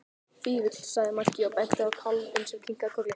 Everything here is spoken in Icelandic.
Fífill, sagði Maggi og benti á kálfinn sem kinkaði kolli.